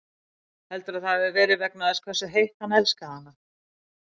Heldurðu að það hafi verið vegna þess hversu heitt hann elskaði hana?